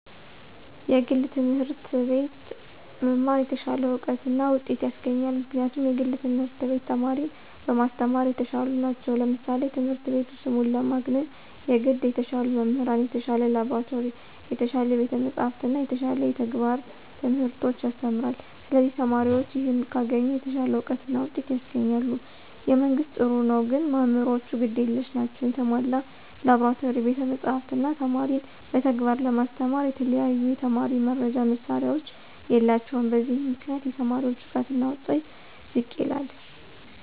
የግል ትምህርት አቤት መማር የተሻለ እውቀት እና ውጤት ያሰገኛል ምክንያቱም የግል ትምህርት ቤት ተማሪን በማሰተማራ የተሻሉ ነቸው ለምሳሌ ትምህረት ቤቱ ስሙን ለማግነነ የገድ የተሻሉ መምህራን፣ የተሻለ ላብራቶሪ፣ የተሻለ ቤተ መፅሐፍት እና የተሻለ የተግባረ ትምህርቶች ያሰተምራለ ስለዚህ ተማሪዎችም ይህን ካገኙ የተሻለ አውቀት እና ውጤት ያስገኛል። የመንግስት ጥሩ ነው ግን መምህራኖቹ ግድ የለሽ ናቸው የተሞላ ላብራቶሪ፣ ቤተ መፅሐፍ፣ እነ ተማሪን በተግባር ለማስተማራ የተለያዩ የተማሪ መርጃ መሳሪያዎች የላቸውም በዚህ ምክንያት የተማሪዎች እውቀትና ውጤት ዝቅ ይላል።